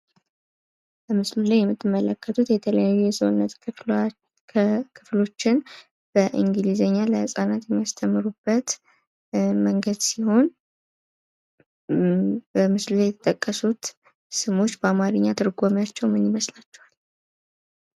በምስሉ ላይ የምትመለከቱት የተለያዩ የሰውነት ክፍሎችን በእንግሊዝኛ ለህጻናት የሚያስተምሩበት መንገድ ሲሆን በምስሉ ላይ የተጠቀሱት ስሞች በአማርኛ ትርጉማቸው ምን ይመስላችኋል?